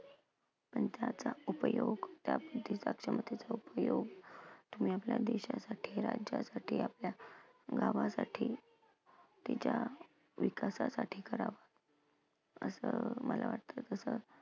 पण त्याचा उपयोग त्या बुद्धीचा, क्षमतेचा उपयोग तुम्ही आपल्या देशासाठी, राज्यासाठी, आपल्या गावासाठी तिच्या विकासासाठी करा. असं मला वाटतं तसं